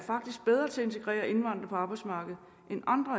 bedre til at integrere indvandrere på arbejdsmarkedet end andre